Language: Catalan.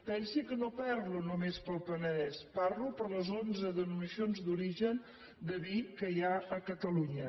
pensi que no parlo només per al penedès parlo per a les onze denominacions d’origen de vi que hi ha a catalunya